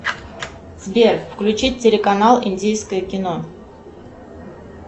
сбер включить телеканал индийское кино